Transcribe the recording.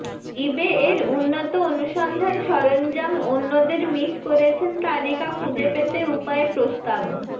ইবে এর উন্নত অনুসন্ধান সরঞ্জাম অন্যদের মিস করেছেন তালিকা খুঁজে পেতে উপায় প্রস্তাব